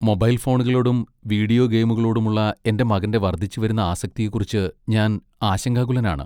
Mobile ഫോണുകളോടും video ഗെയിമുകളോടുമുള്ള എന്റെ മകന്റെ വർദ്ധിച്ചുവരുന്ന ആസക്തിയെക്കുറിച്ച് ഞാൻ ആശങ്കാകുലനാണ്.